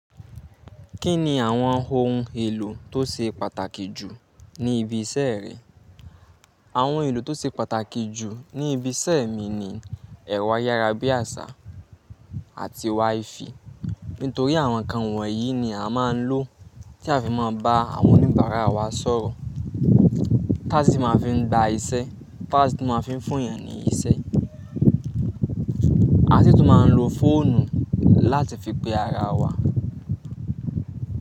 Kí ni àwọn ohun èlò tó ṣe pàtàkì jù ní ibi iṣẹ́ rẹ? Àwọn ohun èlò tó ṣe pàtàkì jù ní ibi iṣẹ́ mi ni ẹ̀rọ ayárabíàṣá àti wifi. Nítorí àwọn ǹkan wọ̀nyí ni a máa ń lò tí a fi máa ń bá àwọn oníbàárà wa sọ̀rọ̀. Pad ni máa fi ń gba iṣẹ́, pad ní máa fi ń funyàn ní iṣẹ́. A sì tún máa ń lo fóònù láti fi pe ara wa.